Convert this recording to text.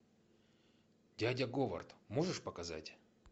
дядя говард можешь показать